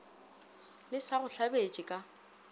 le sa go hlabetše ka